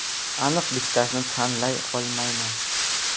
Aniq bittasini tanlay olmayman.